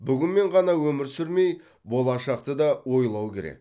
бүгінмен ғана өмір сүрмей болашақты да ойлау керек